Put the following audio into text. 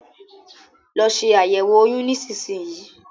Lọ se àyẹ̀wo oyún nísinsìnyí